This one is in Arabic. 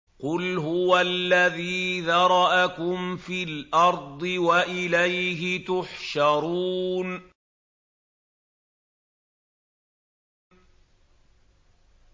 قُلْ هُوَ الَّذِي ذَرَأَكُمْ فِي الْأَرْضِ وَإِلَيْهِ تُحْشَرُونَ